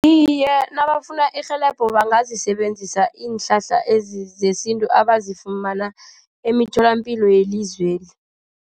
Iye, nabafuna irhelebho bangazisebenzisa iinhlahla zesintu abazifumana emitholapilo yelizweli.